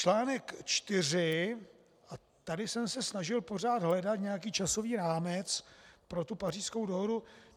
Článek 4 - a tady jsem se snažil pořád hledat nějaký časový rámec pro tu Pařížskou dohodu.